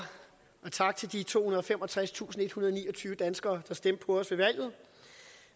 og tak til de tohundrede og femogtredstusindethundrede og niogtyve danskere der stemte på os ved valget